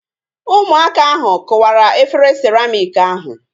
Ụmụaka ahu kụwara efere siramịk ahu